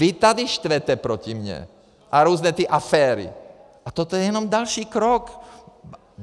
Vy tady štvete proti mně a různé ty aféry a toto je jenom další krok.